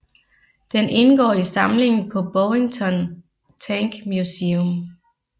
Den indgår i samlingen på Bovington Tank Museum